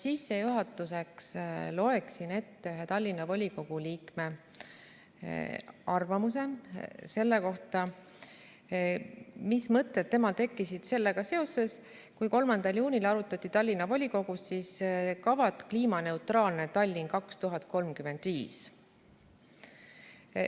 Ma sissejuhatuseks loen ette ühe Tallinna volikogu liikme arvamuse, selle, mis mõtted temal tekkisid sellega seoses, kui 3. juunil arutati Tallinna volikogus kava "Kliimaneutraalne Tallinn 2035".